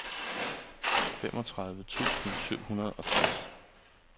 femogtredive tusind syv hundrede og tres